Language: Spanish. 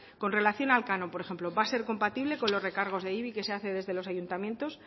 con relación al canon por ejemplo va a ser compatible con los recargos de ibi que se hace desde los ayuntamientos